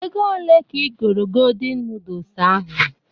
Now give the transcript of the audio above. Ego ole ka igoro godin nudus ahụ?